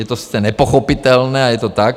Je to sice nepochopitelné, ale je to tak.